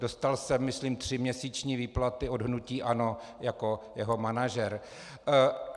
Dostal jsem, myslím, tříměsíční výplatu od hnutí ANO jako jeho manažer.